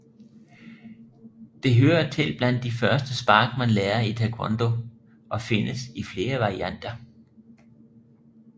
Det hører til blandt de første spark man lærer i taekwondo og findes i flere varianter